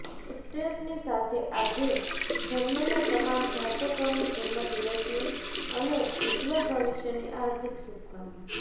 એક્ટ્રેસની સાથે આજે જન્મેલા તમામ જાતકોને જન્મદિવસની અને ઉજ્જવળ ભવિષ્યની હાર્દિક શુભકામના